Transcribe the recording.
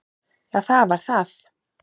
Já það var það.